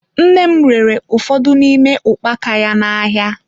Nne m rere ụfọdụ n'ime ukpaka ya n'ahịa.